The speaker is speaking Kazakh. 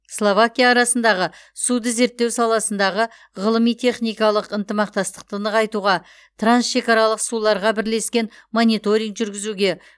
словакия арасындағы суды зерттеу саласындағы ғылыми техникалық ынтымақтастықты нығайтуға трансшекаралық суларға бірлескен мониторинг жүргізуге